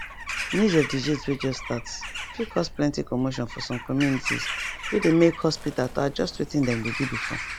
news of disease way just start fit cause plenty commotion for some communitiesway they make hospita to adjust wetin them dey do before